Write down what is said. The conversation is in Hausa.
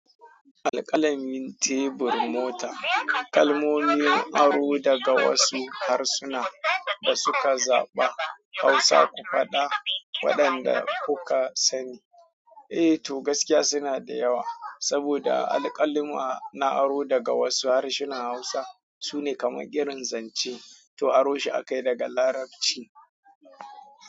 Alkalamin tebur mota kalmomin aro daga wasu harsuna da suka zaɓa Hausa ku faɗa waɗanda kuka sani. Eh to gaskiya suna da yawa saboda alkaluma a aro daga wasu harsunan Hausa sune kamar girin zance to aro shi a kai daga Larabci.